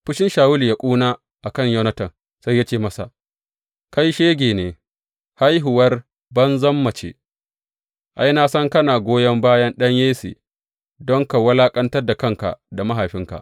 Fushin Shawulu ya ƙuna a kan Yonatan, sai ya ce masa, Kai shege ne, haihuwar banzan mace; ai, na san kana goyon bayan ɗan Yesse don ka wulaƙantar da kanka da mahaifinka.